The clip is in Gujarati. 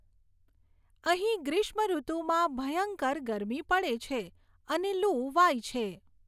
અહીં ગ્રીષ્મઋતુમાં ભયંકર ગરમી પડે છે અને લૂ વાય છે.